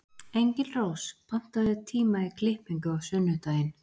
Engilrós, pantaðu tíma í klippingu á sunnudaginn.